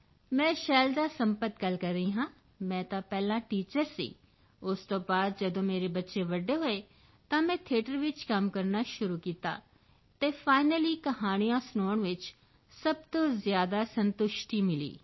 ਮੈਂ ਸ਼ੈਲਜਾ ਸੰਪਤ ਗੱਲ ਕਰ ਰਹੀ ਹਾਂ ਮੈਂ ਤਾਂ ਪਹਿਲਾਂ ਟੀਚਰ ਸੀ ਉਸ ਤੋਂ ਬਾਅਦ ਜਦੋਂ ਮੇਰੇ ਬੱਚੇ ਵੱਡੇ ਹੋਏ ਤਾਂ ਮੈਂ ਥੀਏਟਰ ਵਿੱਚ ਕੰਮ ਕਰਨਾ ਸ਼ੁਰੂ ਕੀਤਾ ਅਤੇ 6 ਕਹਾਣੀਆਂ ਸੁਣਾਉਣ ਵਿੱਚ ਸਭ ਤੋਂ ਜ਼ਿਆਦਾ ਸੰਤੁਸ਼ਟੀ ਮਿਲੀ